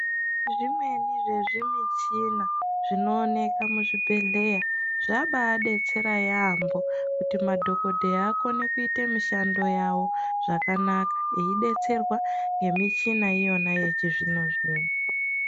Zvimweni zvezvimichina zvinooneka muzvibhedhleya zvabaadetsera yaampo kuti madhokodheya akone kuite mishando yawo zvakanaka eidetserwa ngemichina iyona yechizvino zvino.